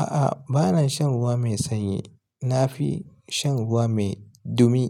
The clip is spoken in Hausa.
A'a, ba na shan ruwa mai sanyi. Na fi shan ruwa mai dumi,